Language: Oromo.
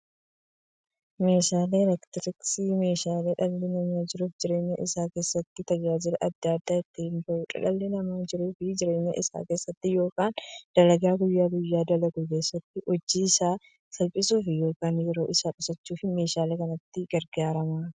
Meeshaaleen elektirooniksii meeshaalee dhalli namaa jiruuf jireenya isaa keessatti, tajaajila adda addaa itti bahuudha. Dhalli namaa jiruuf jireenya isaa keessatti yookiin dalagaa guyyaa guyyaan dalagu keessatti, hojii isaa salphissuuf yookiin yeroo isaa qusachuuf meeshaalee kanatti gargaarama.